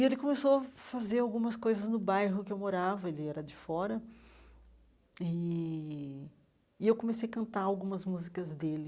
E ele começou a fazer algumas coisas no bairro que eu morava, ele era de fora, e e eu comecei a cantar algumas músicas dele.